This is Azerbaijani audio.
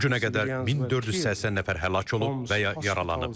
Bu günə qədər 1480 nəfər həlak olub və ya yaralanıb.